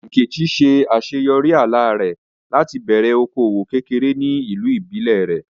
Nkechi ṣe àṣeyọrí àlá rẹ̀ láti bẹ̀rẹ̀ okòwò kékeré ní ìlú ìbílẹ̀ rẹ̀.